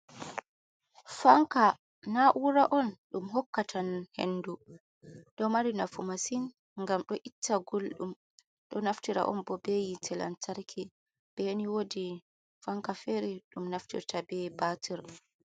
Fanka nauuraon ɗum hokkatan hendu. Ɗo mari nafu masin gam do itta gulɗum. Ɗo naftira on bo be hite lantarki. beni wodi fanka fere ɗum naftirta be batir.